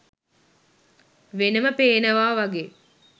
වෙනම පේනවා වගේ